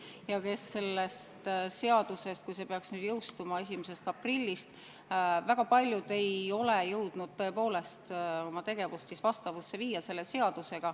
Aga paljud, kui see seadus peaks nüüd 1. aprillil jõustuma, ei ole jõudnud tõepoolest oma tegevust sellega vastavusse viia.